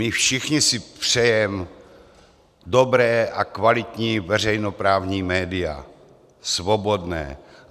My všichni si přejeme dobrá a kvalitní veřejnoprávní média, svobodná.